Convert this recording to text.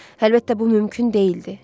Əlbəttə, bu mümkün deyildi.